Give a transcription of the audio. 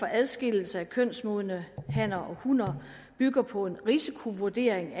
adskillelse af kønsmodne hanner og hunner bygger på en risikovurdering